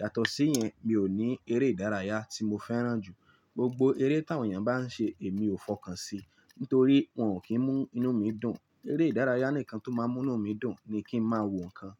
Yàtọ̀ sí yẹn, mi ò ní eré ìdárayá tí mo fẹ́ràn jù. Gbogbo eré táwọn èèyàn bá n ṣe èmi ò fọkàn sí, nítorí wọn ò kí n mú inú mi dùn. Eré ìdárayá nìkan tó máa ń mú inú mi dùn ni kí n máa wo nǹkan.